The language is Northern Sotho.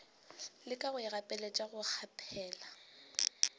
leka go ikgapeletša go kgaphela